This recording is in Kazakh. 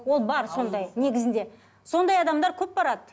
ол бар сондай негізінде сондай адамдар көп барады